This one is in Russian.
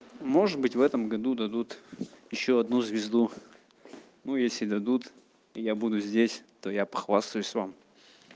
может быть в этом году дадут ещё одну звезду ну если дадут я буду здесь то я похвастаюсь вам